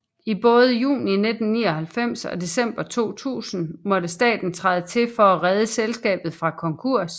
I både juni 1999 og december 2000 måtte staten træde til for at redde selskabet fra konkurs